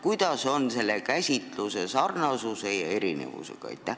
Kuidas on selle käsitluse sarnasuse ja erinevusega?